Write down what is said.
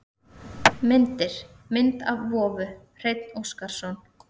Myndir: Mynd af vofu: Hreinn Óskarsson.